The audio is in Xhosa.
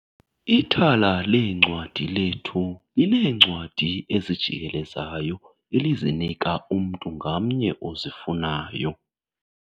Ithala leencwadi lethu lineencwadi ezijikelezayo elizinika umntu ngamnye ozifunayo.